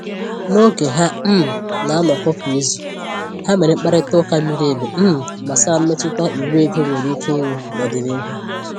N’oge ha um na-anọkọ kwa izu, ha mèrè mkparịta ụka miri emi um gbasàra mmetụta iwu ego nwere ike inwe n’ọdịnihu.